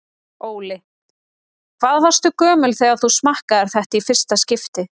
Óli: Hvað varstu gömul þegar þú smakkaðir þetta í fyrsta skipti?